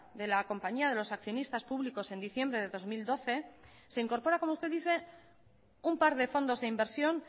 de la compañía de los accionistas públicos en diciembre de dos mil doce se incorpora como usted dice un par de fondos de inversión